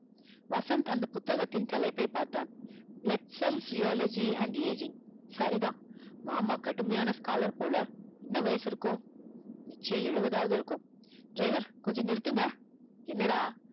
வசந்த் அந்த புத்தகத்தின் தலைப்பை பார்த்தான் blood cells zoology and aging சரிதான் மாமா கடுமையா scholar போல என்ன வயசு இருக்கும் நிச்சயம் எழுவதாவது இருக்கும driver கொஞ்சம் நிருந்துங்க என்ன டா